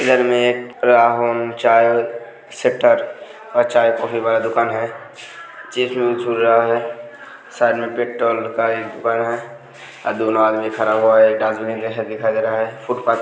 इधर में राहुल चाय वाला शटर और चाय कॉफ़ी वाला दूकान है और दोनों आदमी खड़ा हुआ है और जैसा दिखाई दे रहा है फुटपाथ --